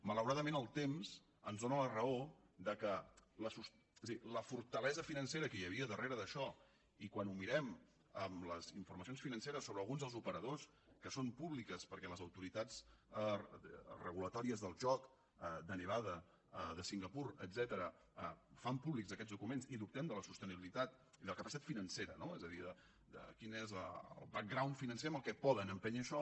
malauradament el temps ens dóna la raó que la fortalesa financera que hi havia al darrere d’això i quan ho mirem amb les informacions financeres sobre alguns dels operadors que són públiques perquè les autoritats regulatòries del joc de nevada de singapur etcètera fan públics aquests documents i dubtem de la sostenibilitat i de la capacitat financera no és a dir de quin és el backgroundaixò